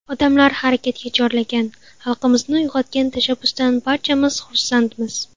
Odamlarni harakatga chorlagan, xalqimizni uyg‘otgan tashabbusdan barchamiz xursandmiz.